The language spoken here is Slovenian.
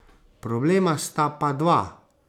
Problema sta pa dva.